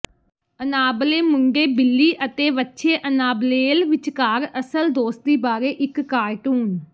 Annabelle ਮੁੰਡੇ Billy ਅਤੇ ਵੱਛੇ ਅਨਾਬਲੇਲ ਵਿਚਕਾਰ ਅਸਲ ਦੋਸਤੀ ਬਾਰੇ ਇੱਕ ਕਾਰਟੂਨ